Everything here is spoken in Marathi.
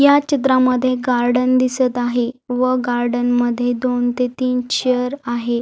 या चित्रामध्ये गार्डन दिसत आहे व गार्डन मध्ये दोन ते तीन चेअर आहे.